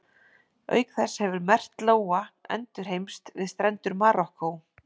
Auk þess hefur merkt lóa endurheimst við strendur Marokkó.